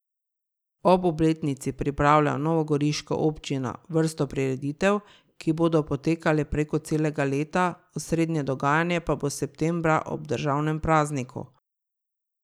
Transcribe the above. Ob obletnici pripravlja novogoriška občina vrsto prireditev, ki bodo potekale preko celega leta, osrednje dogajanje pa bo septembra ob državnem prazniku.